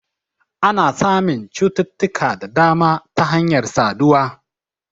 Ana samun cututtuka da dama ta hanyar saduwa